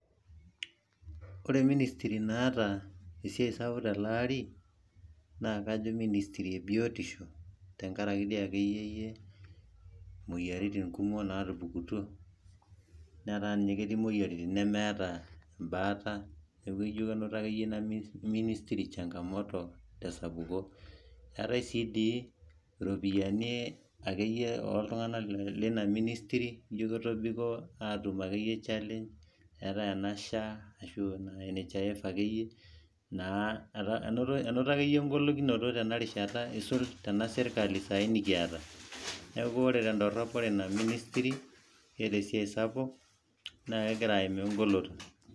Ore ministry naata esiai sapuk tele ari naa kajo ministry e biotisho, tenkaraki doi akeyiyie moyiaritin kumok naatupukutuo netaa ninye kitii moyiaritin nemeeta baata niaku ijo doi akeyie yie kenoto ina ministry changamoto te sapuko. Eeta sii dii irropiyiani oo iltung`anak teina ministry ijo ketobiko aatum akeyie challenge eetae ena SHA ashu NHIF akeyie naa enoto akeyie eng`oloto aisula tena rishata eisul tena sirkali nikiata ore te dorrop ore ina ministry keeta esiai sapuk naa kegira aimaa egolikinoto.